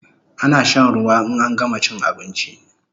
Ana shan ruwa in an gama chin abinchi